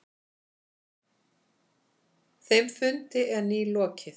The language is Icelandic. Þeim fundi er nýlokið.